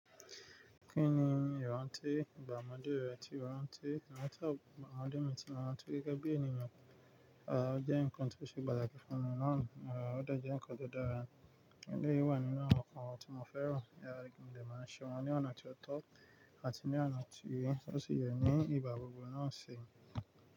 Kí ni ìrántí ìgbà ọmọdé rẹ tí o ráńtí? Ìrántí igba omode mi tí mo ráńtí gẹ́gẹ́ bí ènìyàn, o jẹ́ ǹkan tó ṣe pàtàkì fún mi náà, o dọ̀ jẹ́ ǹkan tó dára, eleyi wà nínú àwọn ǹkan tí mo fẹ́ràn, ti mo dẹ̀ máa ṣe wọ́n ní ọ̀nà tí ó tọ́ àti ní ọ̀nà tí ó sì yẹ ní ìgba gbogbo náà ṣi.